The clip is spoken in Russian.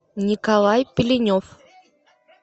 николай пеленев